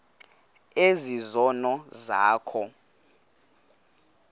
ezi zono zakho